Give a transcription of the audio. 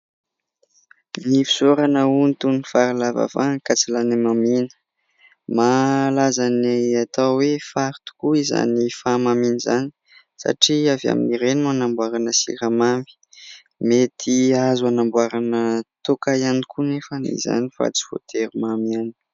Ny fisaorana hono toy ny fary lava vany ka tsy lany hamamiana. Mahalaza ny atao hoe fary tokoa izany fahamamiana izany, satria avy amin'ireny no anamboarana siramamy; mety azo anamboarana toaka ihany koa anefa na izany aza fa tsy voatery mamy ihany.